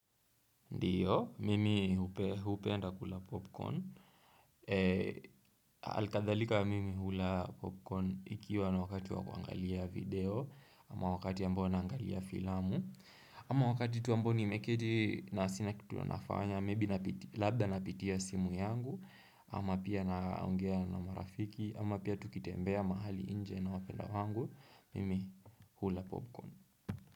Ndiyo, mimi hupenda kula popcorn Alkadhalika mimi hula popcorn Ikiwa ni wakati wa kuangalia video Ama wakati ambao naangalia filamu Ama wakati tu ambao nimeketi na sina kitu nafanya Maybe labda napitia simu yangu Ama pia naongea na marafiki Ama pia tukitembea mahali nje na wapendwa wangu Mimi hula popcorn.